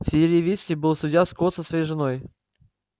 в сиерра висте был судья скотт со своей женой